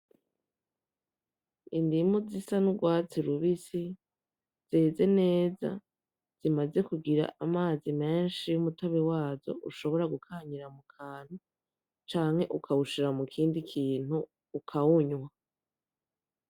Indimu zisa n'urwatsi rubisi, zeze neza, zimaze kugira amazi menshi umutobe wazo ushobora gukanyira mukantu, canke ukawushira mu kindi kintu ukawunywa.